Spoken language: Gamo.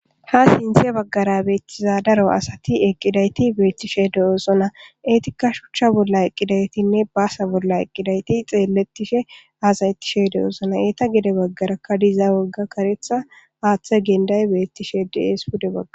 Ha sinthe bagara eqidayti daro asati eqi dosona waga shucha bolla eqidaytine basa bolla eqidayti xeletishe hasayetishe de'osona eta gede bagaraka diza woga karetha hathe genday betishe de'es pude bagara